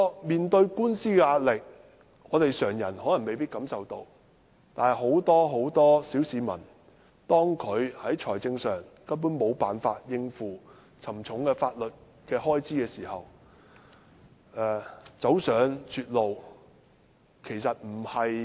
面對官司的壓力，常人可能未必感受到，但對很多小市民來說，當他們在財政上無法應付沉重的法律開支時，走上絕路並非很意外的事。